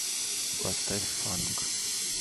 поставь фанк